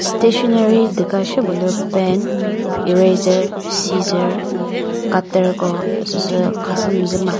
stationary duka shepü lü pen eraser scissor cutter ko süsü khasü müzü ma.